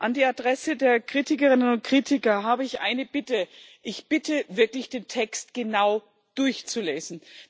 An die Adresse der Kritikerinnen und Kritiker habe ich eine Bitte Ich bitte wirklich, den Text genau durchzulesen.